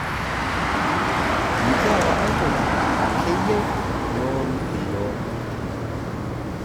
Mikiata aitoki naa keyieu neoru iyiok.